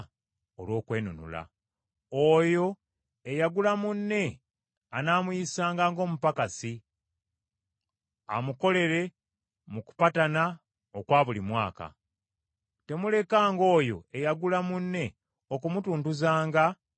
Oyo eyagula munne anaamuyisanga ng’omupakasi amukolera mu kupatana okwa buli mwaka. Temulekanga oyo eyagula munne okumutuntuzanga nga nammwe mulaba.